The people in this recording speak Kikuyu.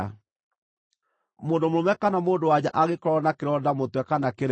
“Mũndũ mũrũme kana mũndũ-wa-nja angĩkorwo na kĩronda mũtwe kana kĩreru-rĩ,